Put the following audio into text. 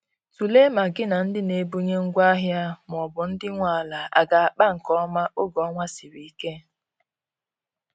Tụlee ma gi na ndi n'ebunye ngwa ahia maọbụ ndi nwe ala aga akpa nke oma oge ọnwa sịrị ike